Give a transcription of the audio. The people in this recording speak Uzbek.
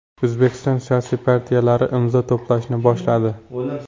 O‘zbekiston siyosiy partiyalari imzo to‘plashni boshladi.